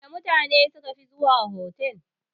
Wana mutane sukafi zuwa otal?